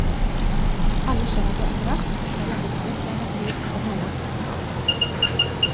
Alle skjønner det etterhvert, selv om det tar litt lengre tid for noen enn for andre.